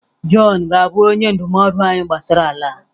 Jọn ga-abụ onye ndụmọdụ anyị gbasara ala a.